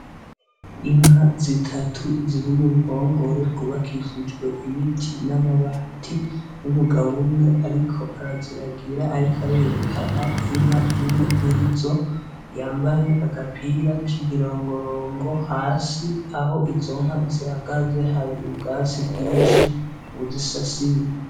Inka zitatu ziri mu ruhongore rwubakishijwe ibiti n'amabati, n'umugabo umwe ariko araziragira, ariko arerekana inka imwe murizo, yambaye agapira k'imirongorongo. Hasi aho izo nka zihagaze hari ubwatsi bwinshi buzisasiye.